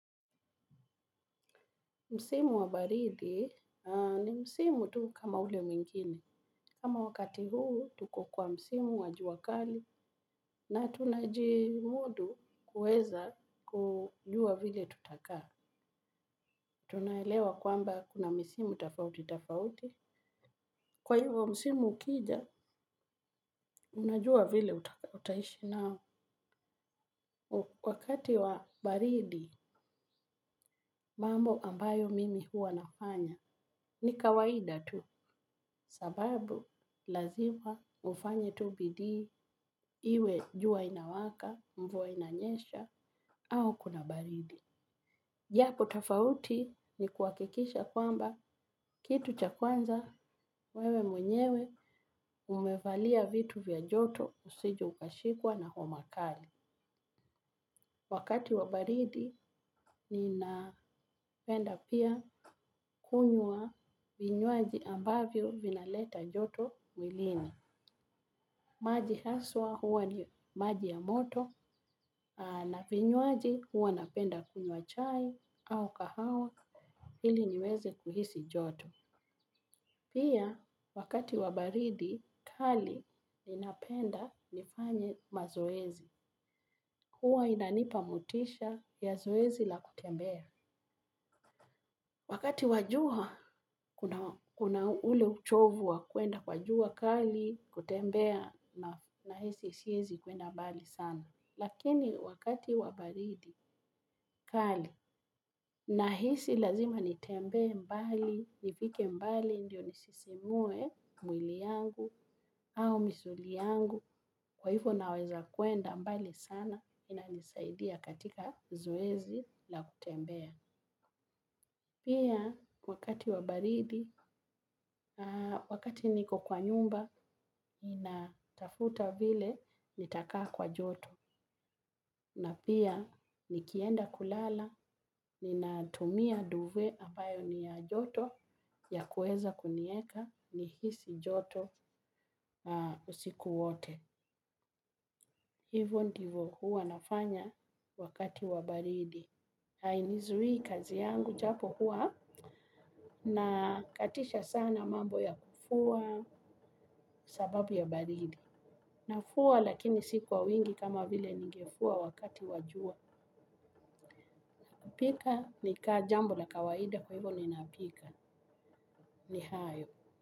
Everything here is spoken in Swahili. Msimu wa baridi ni msimu tu kama ule mwingine. Kama wakati huu tuko kwa msimu wa juakali na tunajimudu kuweza kujua vile tutakaa. Tunaelewa kwamba kuna misimu tofauti tofauti. Kwa hivyo msimu ukija, unajua vile utaishi nao. Wakati wa baridi mambo ambayo mimi huwa nafanya ni kawaida tu kwa sababu lazima ufanye tu bidii iwe jua linawaka, mvua inanyesha au kuna baridi. Japo tofauti ni kuhakikisha kwamba kitu cha kwanza wewe mwenyewe umevalia vitu vya joto usije ukashikwa na homa kali. Wakati wa baridi ninapenda pia kunywa vinywaji ambavyo vinaleta joto mwilini. Maji haswa huwa ni maji ya moto na vinywaji huwa napenda kunywa chai au kahawa ili niweze kuhisi joto. Pia, wakati wa baridi, kali, ninapenda nifanye mazoezi. Kuwa inanipa motisha ya zoezi la kutembea. Wakati wa jua, kuna ule uchovu wa kwenda kwa juakali, kutembea na hisi siwezi kuenda mbali sana. Lakini, wakati wabaridi, kali, na hisi lazima nitembee mbali, nifike mbali, ndiyo nisisimue mwili yangu au misuli yangu kwa hivyo naweza kwenda mbali sana inanisaidia katika zoezi la kutembea. Pia wakati wa baridi, wakati niko kwa nyumba, ninatafuta vile nitakaa kwa joto. Na pia nikienda kulala, ninatumia duve ambayo ni ya joto ya kuweza kuniweka ni hisi joto usiku wote. Hivo ndivyo huwa nafanya wakati wa baridi. Hainizuii kazi yangu japo huwa na katisha sana mambo ya kufua sababu ya baridi. Nafua lakini siku kwa wingi kama vile ningefua wakati wa jua. Pika ni kaa jambo la kawaida kwa hivyo ninapika ni hayo.